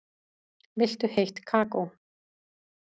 Viltu heitt kakó?